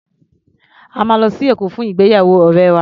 A máa lọ sí Èkó fún ìgbéyàwó ọ̀rẹ́ wa.